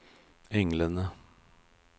englene